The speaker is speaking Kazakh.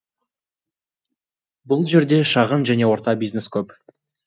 бұл жерде шағын және орта бизнес көп